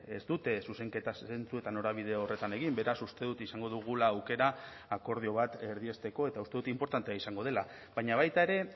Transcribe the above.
ez dute zuzenketa zentzu eta norabide horretan egin beraz uste dut izango dugula aukera akordio bat erdiesteko eta uste dut inportantea izango dela baina baita ere